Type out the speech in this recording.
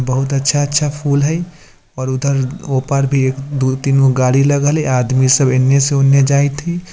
बहुत अच्छा-अच्छा फूल हय और उधर ओ पार भी एक दू तीन गो गाड़ी लगल है आदमी सब इने से ऊने जाएत हई।